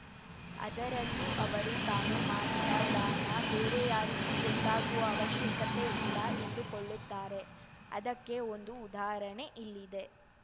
ಅದರಲ್ಲೂ ಅವರು ತಾನು ಮಾಡಿದ ದಾನ ಬೇರೆ ಯಾರಿಗೂ ಗೊತ್ತಾಗುವ ಅವಶ್ಯಕತೆ ಇಲ್ಲ ಎಂದುಕೊಳ್ಳುತ್ತಾರೆ ಅದಕ್ಕೆ ಒಂದು ಉದಾಹರಣೆ ಇಲ್ಲಿದೆ